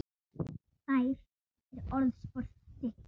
Þær eru orðspor þitt.